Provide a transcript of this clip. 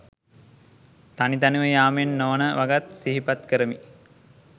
තනි තනිව යාමෙන් නොවන වගත් සිහිපත් කරමි